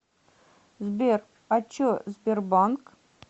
сбер а че сбербанк